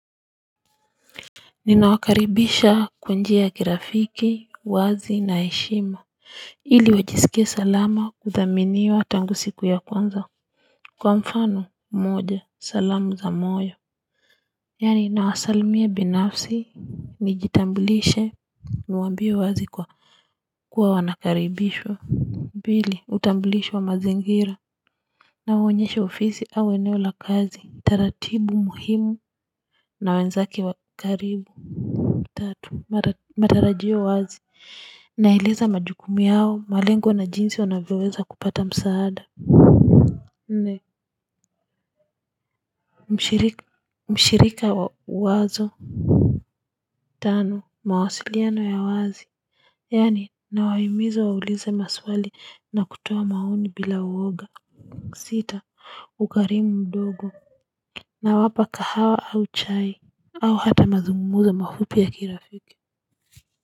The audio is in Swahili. Ninawakaribisha kwa njia ya kirafiki uwazi na heshima ili wajisikie salama kuthaminiwa tangu siku ya kwanza. Kwa mfano moja salamu za moyo yaani nawasalimia binafsi. Nijitambulishe niwaambie wazi kwa kuwa wanakaribishwa pili utambulisho wa mazingira nawaonyesha ofisi au eneo la kazi. Taratibu muhimu na wenzake wa karibu tatu matarajio wazi naeleza majukumu yao malengo na jinsi wanavyoweza kupata msaada. Mshirika wa wazo tano mawasiliano ya wazi yaani nawahimiza waulize maswali na kutoa maoni bila uoga. Sita ukarimu mdogo nawapa kahawa au chai. Au hata mazungumzo mafupi ya kirafiki.